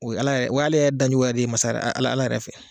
O ye Ala ye o y'ale yɛrɛ dancogo yɛrɛ de ye masa Ala yɛrɛ fɛ.